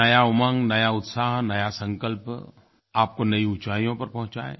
नया उमंग नया उत्साह नया संकल्प आपको नयी ऊंचाइयों पर पहुंचाए